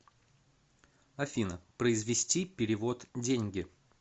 афина произвести перевод деньги